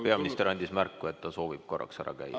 Peaminister andis märku, et ta soovib korraks ära käia.